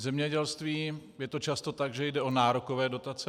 V zemědělství je to často tak, že jde o nárokové dotace.